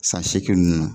San seegin ninnu na